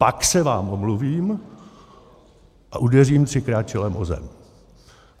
Pak se vám omluvím a udeřím třikrát čelem o zem.